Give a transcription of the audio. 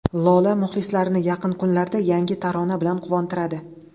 Lola muxlislarini yaqin kunlarda yangi tarona bilan quvontiradi.